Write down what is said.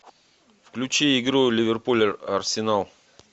включи игру ливерпуль арсенал